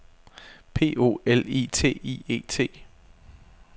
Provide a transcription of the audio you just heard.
P O L I T I E T